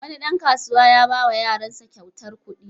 Wani ɗan kasuwa ya ba wa yaransa kyautar kuɗi.